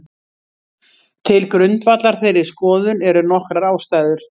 Til grundvallar þeirri skoðun eru nokkrar ástæður.